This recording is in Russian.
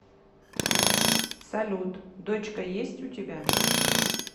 салют дочка есть у тебя